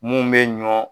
Mun bɛ ɲɔ